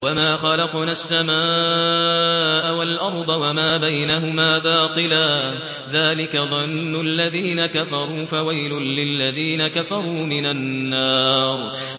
وَمَا خَلَقْنَا السَّمَاءَ وَالْأَرْضَ وَمَا بَيْنَهُمَا بَاطِلًا ۚ ذَٰلِكَ ظَنُّ الَّذِينَ كَفَرُوا ۚ فَوَيْلٌ لِّلَّذِينَ كَفَرُوا مِنَ النَّارِ